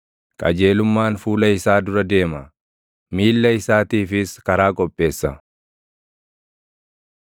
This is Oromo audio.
Qajeelummaan fuula isaa dura deema; miilla isaatiifis karaa qopheessa.